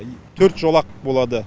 төрт жолақ болады